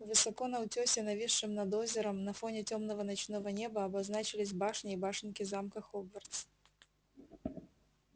высоко на утёсе нависшем над озером на фоне тёмного ночного неба обозначились башни и башенки замка хогвартс